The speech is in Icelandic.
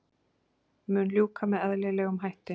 Mun ljúka með eðlilegum hætti